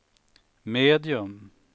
medium